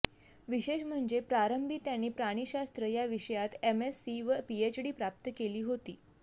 विशेष म्हणजे प्रारंभी त्यांनी प्राणीशास्त्र या विषयात एम एस्सी व पीएचडी प्राप्त केली होती